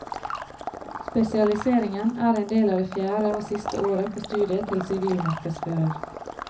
Spesialiseringen er en del av det fjerde og siste året på studiet til sivilmarkedsfører.